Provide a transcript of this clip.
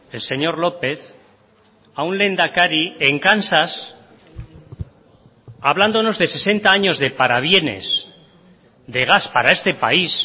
el señor lópez a un lehendakari en kansas hablándonos de sesenta años de parabienes de gas para este país